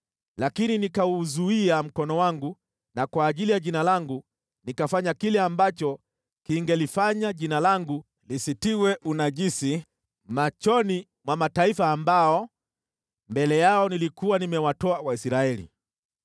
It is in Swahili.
Lakini nikauzuia mkono wangu na kwa ajili ya Jina langu nikafanya kile ambacho kingelifanya Jina langu lisitiwe unajisi machoni mwa mataifa ambao mbele yao nilikuwa nimewatoa Waisraeli.